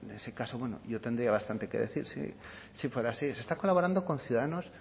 en ese caso yo tendría bastante que decir si fuera así se está colaborando con ciudadanos